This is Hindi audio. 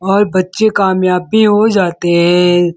और बच्चे कामयाब भी हो जाते ए ।